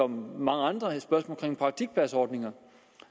mange andre spørgsmålet om praktikpladsordningen